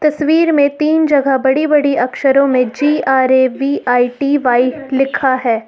तस्वीर मे तीन जगह बड़ी बड़ी अक्षरों में G R A V I T Y लिखा है।